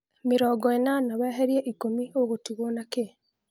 mĩrongo ĩnana weherĩe ĩkũmi ũgũtĩgwo na kĩ